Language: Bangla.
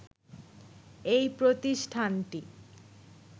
এই প্রতিষ্ঠানটি